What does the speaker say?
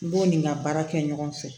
N b'o ni n ka baara kɛ ɲɔgɔn fɛ